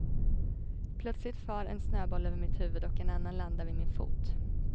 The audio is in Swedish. Plötsligt far en snöboll över mitt huvud och en annan landar vid min fot.